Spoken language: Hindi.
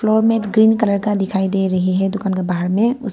फ्लोर में ग्रीन कलर का दिखाई दे रही है दुकान के बाहर में उस--